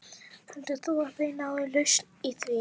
Heldur þú að þið náið lausn í því?